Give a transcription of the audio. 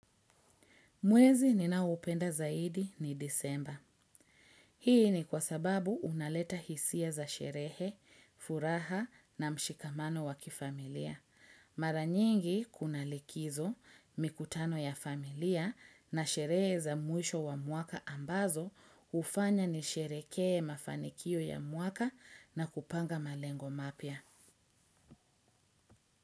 Mwezi ninaoupenda zaidi ni disemba. Hii ni kwa sababu unaleta hisia za sherehe, furaha na mshikamano wa kifamilia. Mara nyingi kuna likizo mikutano ya familia na sherehe za mwisho wa mwaka ambazo hufanya nisherekee mafanikio ya mwaka na kupanga malengo mapya.